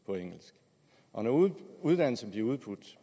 på engelsk og når uddannelserne bliver udbudt